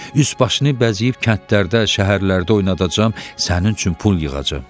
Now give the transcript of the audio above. Üz-başını bəzəyib kəndlərdə, şəhərlərdə oynadacam, sənin üçün pul yığacam.